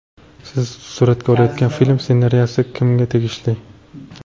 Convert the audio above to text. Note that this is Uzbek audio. Siz suratga olayotgan film ssenariysi kimga tegishli?